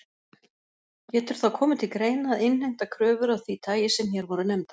Getur þá komið til greina að innheimta kröfur af því tagi sem hér voru nefndar.